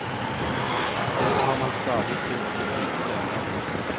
Istedet har man stadig tydd til hvite løgner.